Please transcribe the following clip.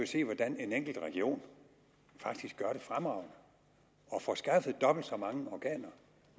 se hvordan en enkelt region faktisk gør det fremragende og får skaffet dobbelt så mange organer